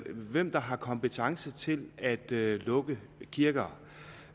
hvem der har kompetence til at lukke kirker